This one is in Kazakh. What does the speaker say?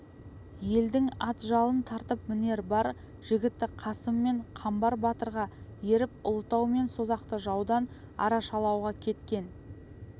елдің ат жалын тартып мінер бар жігіті қасым мен қамбар батырға еріп ұлытау мен созақты жаудан арашалауға кеткен